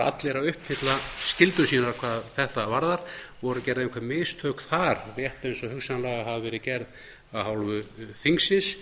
allir að uppfylla skyldur sínar hvað þetta varðar voru gerð einhver mistök þar rétt eins og hugsanlega hafa verið gerð af hálfu þingsins